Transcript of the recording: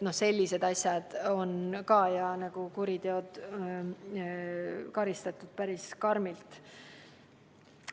Sellised asjad on samuti kuriteod ja nende korral karistatakse päris karmilt.